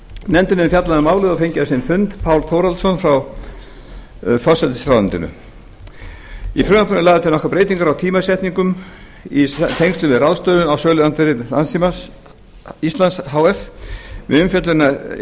nefndin hefur fjallað um málið og fengið á sinn fund pál þórhallsson frá forsætisráðuneytinu í frumvarpinu eru lagðar til nokkrar breytingar á tímasetningum í tengslum við ráðstöfun á söluandvirði landssíma íslands h f við umfjöllun